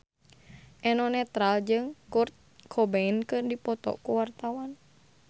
Eno Netral jeung Kurt Cobain keur dipoto ku wartawan